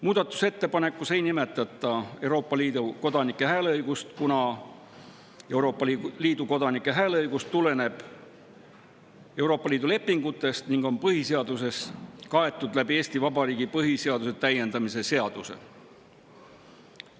Muudatusettepanekus ei nimetata Euroopa Liidu kodanike hääleõigust, kuna Euroopa Liidu kodanike hääleõigus tuleneb Euroopa Liidu lepingutest ning on põhiseaduses kaetud Eesti Vabariigi põhiseaduse täiendamise seaduse kaudu.